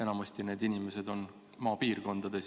Enamasti on need inimesed maapiirkondades.